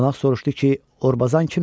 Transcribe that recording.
Qonaq soruşdu ki, Orbazan kimdir?